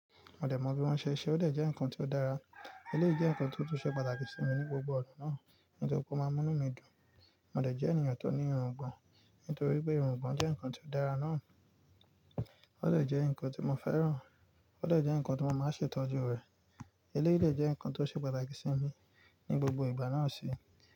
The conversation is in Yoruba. Mo de mo bí wọ́n ṣe n ṣe, òde jẹ́ nǹkan tó dára. Eléyìí jẹ́ nǹkan tó tún ṣe pàtàkì sí mi ní gbogbo ọ̀na náà. Nítorí pé ó máa múnú mí dùn. Mo de jẹ́ ènìyàn tó ní irùngbọ̀n. Nítorí pé irùngbọ̀n jẹ́ nǹkan tó dára náà. Òde jẹ́ nǹkan tí mo fẹ́ràn. Òde jẹ́ nǹkan tí mo máa ń ṣe ìtọ́jú rẹ̀. Eléyìí dè jẹ́ nǹkan tó ṣe pàtàkì sí mi ní gbogbo ìgbà náà sì.